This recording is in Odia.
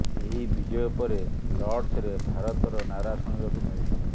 ଏହି ବିଜୟ ପରେ ଲର୍ଡ୍ସରେ ଭାରତର ନାରା ଶୁଣିବାକୁ ମିଳିଥିଲା